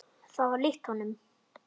Það var líkt honum.